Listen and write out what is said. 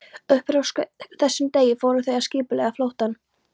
Upp frá þessum degi fóru þau að skipuleggja flóttann.